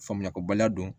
Faamuya kobaliya don